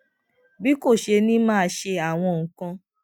bí kò ṣe ní máa ṣe àwọn nǹkan